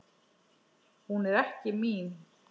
Hún er ekki mín.